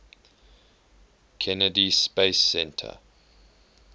kennedy space center